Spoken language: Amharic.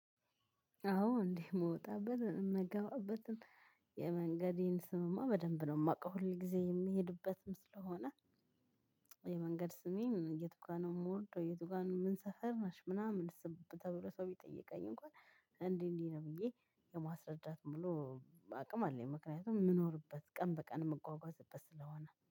አዎ እንዴ የምወጣበት የምገባበትም የመንገዴን ስምማ በደንብ ነው የማውቀው ሁል ጊዜ የሚሄድበትም ስለሆነ። የመንገድ ስሜን የቱ ጋር ነው የምወርደው? የት ጋር ነው ምንሰፈር ነሽ? ምናምን ስብብ ተብሎ ሰው ቢጠየቀኝ እንኳን እንዲህ እንዲህ ነው ብዬ የማስረዳት ሙሉ አቅም አለኝ። ምክንያቱም የምኖርበት ቀን በቀን የምጓጓዝበት ስለሆነ